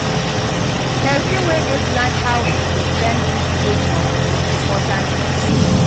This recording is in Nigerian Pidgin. Pesin wey dey plan how im go spend fit save moni for important tins